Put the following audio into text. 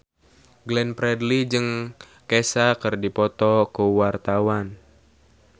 Glenn Fredly jeung Kesha keur dipoto ku wartawan